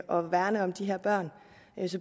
og værne om de her børn